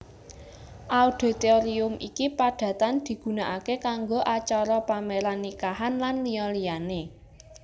Auditorium iki padatan digunakake kanggo acara paméran nikahan lan liya liyané